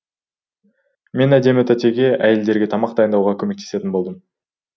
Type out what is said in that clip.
мен әдемі тәтеге әйелдерге тамақ дайындауға көмектесетін болдым